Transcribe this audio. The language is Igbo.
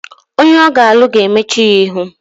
Onye ọ ga-alụ ga-emechu ya ihu